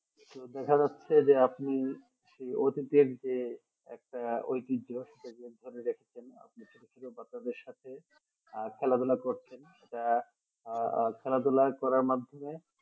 যে দেখা যাচ্ছে যে আপনি একটা ঐতিয্য আপনি ছোট ছোট বাচ্চা দেড় সাথে আহ খেলা ধুলা করছেন আহ খেলা ধুলা করার মাধ্যমে।